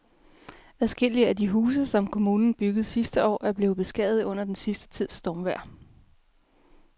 Adskillige af de huse, som kommunen byggede sidste år, er blevet beskadiget under den sidste tids stormvejr.